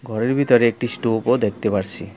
ঘরের ভিতরে একটি স্টোভও দেখতে পারসি।